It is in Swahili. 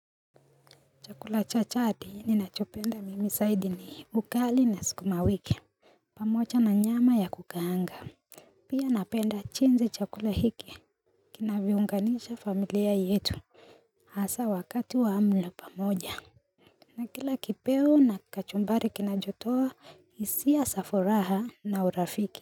Chakula chachati ninachopenda mimi zaidi ni ugali na sukuma wiki pamoja na nyama ya kukaanga Pia napenda chingi chakula hiki kina viunganisha familia yetu Hasa wakati wa amlo pamoja na kila kipeo na kachumbari kina jotoa hisia za furaha na urafiki.